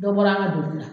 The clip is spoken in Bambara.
Dɔ bɔra an ka donni na